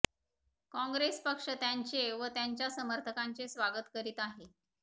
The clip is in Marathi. काँग्रेस पक्ष त्यांचे व त्यांच्या समर्थकांचे स्वागत करीत आहे